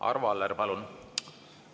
Arvo Aller, palun!